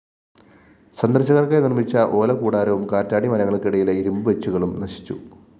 സന്ദര്‍ശകര്‍ക്കായി നിര്‍മ്മിച്ച ഓലക്കൂടാരവും കാറ്റാടി മരങ്ങള്‍ക്കിടയിലെ ഇരുമ്പ് ബെച്ചുകളും നശിച്ചു